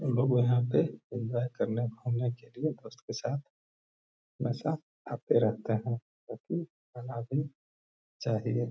लोग यहाँ पे एन्जॉय करने घूमने के लिए दोस्त के साथ हमेशा आते रहते है जो की आना भी चाहिए।